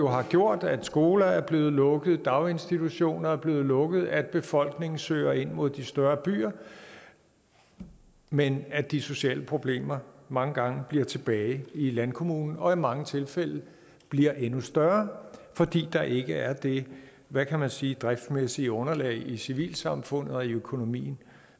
har jo gjort at skoler er blevet lukket at daginstitutioner er blevet lukket at befolkningen søger ind mod de større byer men at de sociale problemer mange gange bliver tilbage i landkommunerne og i mange tilfælde bliver endnu større fordi der ikke er det hvad kan man sige driftsmæssige underlag i civilsamfundet og i økonomien